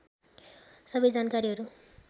सबै जानकारीहरू